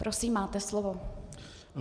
Prosím, máte slovo.